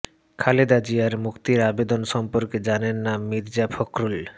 খালেদা জিয়ার মুক্তির আবেদন সম্পর্কে জানেন না মির্জা ফখরুল